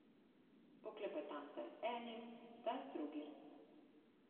Poklepetam zdaj z enim, zdaj z drugim.